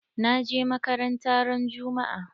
Na je makaranta ran juma'a.